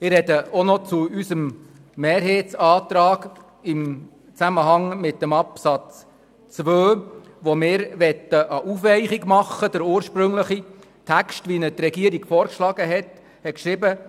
Ich spreche auch noch zu unserem Mehrheitsantrag im Zusammenhang mit dem Absatz 2, wo wir eine Aufweichung gegenüber dem ursprünglichen Text, den der Regierungsrat vorgeschlagen hat, vornehmen wollen.